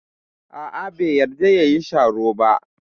A'a, bai yarda ya yi sharo ba.